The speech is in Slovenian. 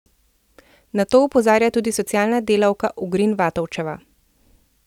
Na to opozarja tudi socialna delavka Ugrin Vatovčeva.